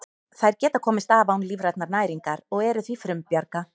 Þær geta komist af án lífrænnar næringar og eru því frumbjarga.